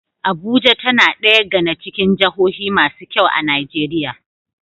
Abuja tAna daya gAna cikin jahohu masu kyau a nigeria